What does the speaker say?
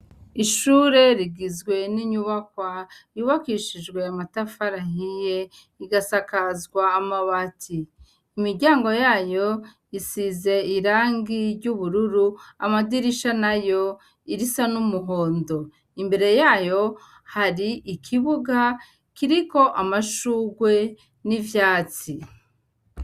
Ishure rigizwe n'inyubakwa uwakishijwe yamatafarahiye igasakazwa amawati imiryango yayo isize irangi ry'ubururu amadirisha na yo irisa n'umuhondo imbere yayo hari ikibuga kiriko amaa ashurwe n'ivyatsi.